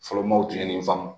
Fɔlɔmaaw tun ye nin faamu